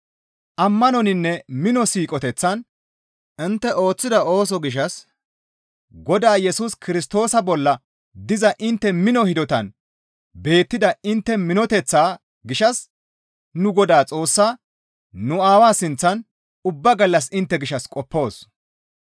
Ammanoninne mino siiqoteththan intte ooththida ooso gishshas Godaa Yesus Kirstoosa bolla diza intte mino hidotan beettida intte minoteththaa gishshas nu Godaa Xoossaa, nu Aawaa sinththan ubba gallas intte gishshas qoppoos.